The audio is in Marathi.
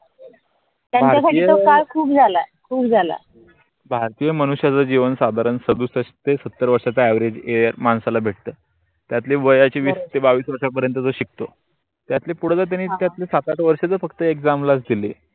भारतीय मनुष्याच जीवन साधारण सदुसष्ट ते सत्तर वर्षा चा average year मांसाला भेट. त्यातले वयाचे विस बावीस वर्षा परेनत तो शिकतो. त्यातले पुढ जातेने त्यातले सात आठ वर्षा फक्त exam दिले.